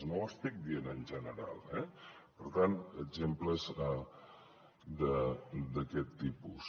no ho estic dient en general eh per tant exemples d’aquest tipus